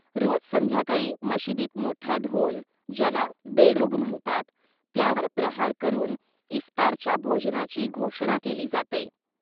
रोज संध्याकाळी मशिदीत मोठा ढोल, ज्याला बेडुग म्हणतात, त्यावर प्रहार करून इफ्तारच्या भोजनाची घोषणा केली जाते.